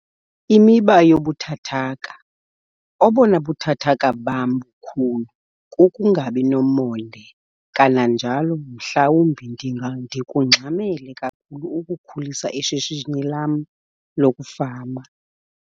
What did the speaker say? Imiba yobuthathaka- Obona buthathaka bam bukhulu kukungabi nomonde kananjalo mhlawumbi ndikungxamele kakhulu ukukhulisa ishishini lam lokufama.